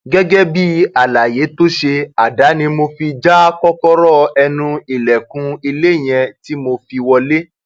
gẹgẹ bíi àlàyé tó ṣe àdá ni mo fi já kọkọrọ ẹnu ilẹkùn ilé yẹn tí mo fi wọlẹ